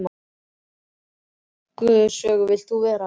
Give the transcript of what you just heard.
Í hvaða skáldsögu vilt þú vera?